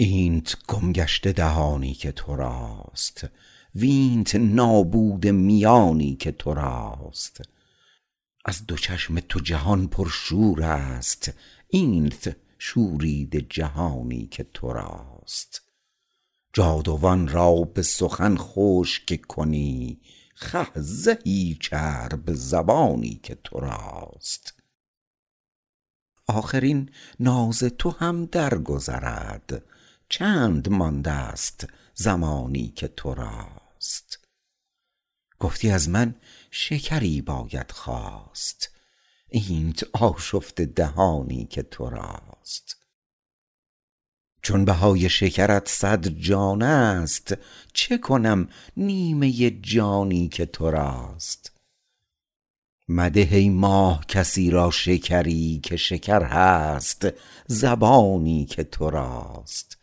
اینت گم گشته دهانی که توراست وینت نابوده میانی که توراست از دو چشم تو جهان پرشور است اینت شوریده جهانی که توراست جادوان را به سخن خشک کنی خه زهی چرب زبانی که توراست آخر این ناز تو هم در گذرد چند مانده است زمانی که توراست گفتی از من شکری باید خواست اینت آشفته دهانی که توراست چون بهای شکرت صد جان است چه کنم نیمه جانی که توراست مده ای ماه کسی را شکری که شکر هست زبانی که توراست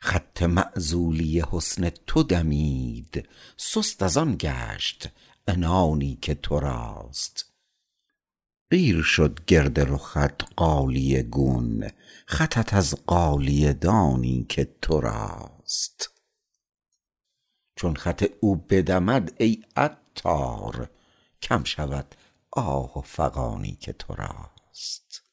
خط معزولی حسن تو دمید سست ازآن گشت عنانی که توراست قیر شد گرد رخت غالیه گون خطت از غالیه دانی که توراست چون خط او بدمد ای عطار کم شود آه و فغانی که توراست